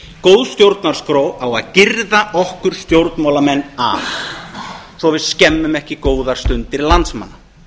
góð stjórnarskrá á að girða okkur stjórnmálamenn af svo að við skemmum ekki góðar stundir landsmanna